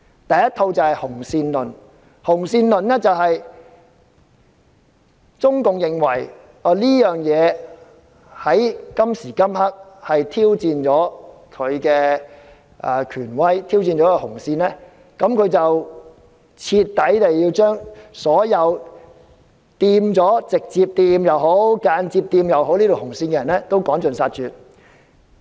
第一套價值觀是"紅線論"，中共認為事件挑戰了它的權威，也挑戰了它的紅線，所以要把所有直接或間接踩到紅線的人徹底趕盡殺絕。